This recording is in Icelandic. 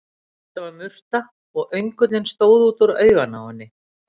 Þetta var murta, og öngullinn stóð út úr auganu á henni.